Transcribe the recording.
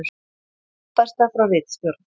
Uppfærsla frá ritstjórn: